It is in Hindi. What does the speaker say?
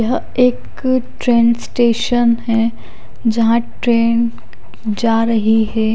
यह एक ट्रैन स्टेशन है जहां ट्रैन जा रही है।